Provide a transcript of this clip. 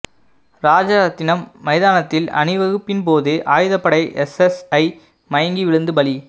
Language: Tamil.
ராஜரத்தினம் மைதானத்தில் அணிவகுப்பின் போது ஆயுதப்படை எஸ்எஸ்ஐ மயங்கி விழுந்து பலி